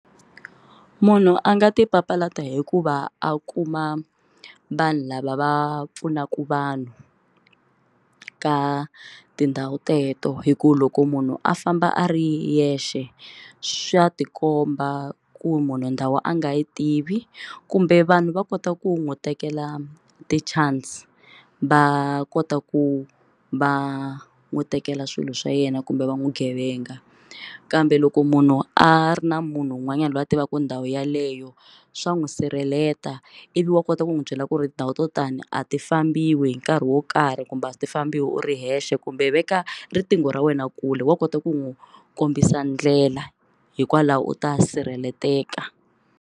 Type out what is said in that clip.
Munhu a nga ti papalata hi ku va a kuma vanhu lava va pfunaka vanhu ka tindhawu teto hi ku loko munhu a famba a ri yexe swa tikomba ku munhu ndhawu a nga yi tivi kumbe vanhu va kota ku n'wi tekela ti-chance va kota ku va n'wi tekela swilo swa yena kumbe va n'wi gevenga kambe loko munhu a ri na munhu un'wanyani loyi a tivaka ndhawu yeleyo swa n'wi sirheleta ivi wa kota ku n'wi byela ku ri tindhawu to tani a ti fambiwa hi nkarhi wo karhi kumbe a ti fambiwa u ri wexe kumbe veka riqingho ra wena kule wa kota ku n'wi kombisa ndlela hikwalaho u ta sirheleteka.